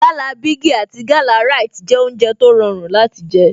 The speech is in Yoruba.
Gala bigi àti Gala Rite jẹ́ oúnjẹ tó rọrùn láti jé